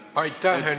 Aitäh, Henn Põlluaas!